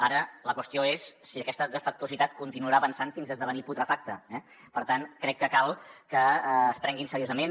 ara la qüestió és si aquesta defectuositat continuarà avançant fins a esdevenir putrefacta eh per tant crec que cal que es prenguin seriosament